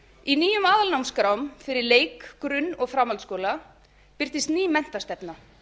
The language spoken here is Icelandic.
í nýjum aðalnámskrám fyrir leik grunn og framhaldsskóla birtist ný menntastefna